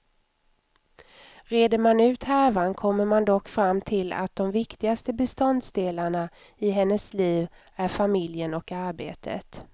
Reder man ut härvan kommer man dock fram till att de viktigaste beståndsdelarna i hennes liv är familjen och arbetet.